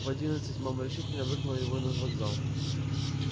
в одиннадцать мама решительно выгнала его на вокзал